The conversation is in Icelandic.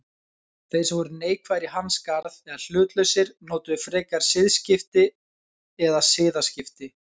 Þeir sem voru neikvæðir í hans garð eða hlutlausir notuðu frekar siðskipti eða siðaskipti.